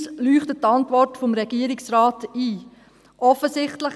Uns leuchtet die Antwort des Regierungsrates ein.